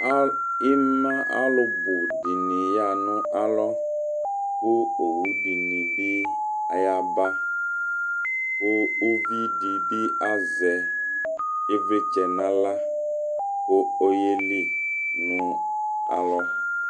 lmɑ ɑlubudini yɑhɑnɑlo ku ɔwu dinibi ɑyɑbɑ ku uvidibi ɑzɛ ivlitsɛ nɑlɑ ku ɔyɛli nu ɑlɔ